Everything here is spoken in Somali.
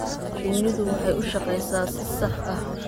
Shinnidu waxay u shaqeysaa si sax ah.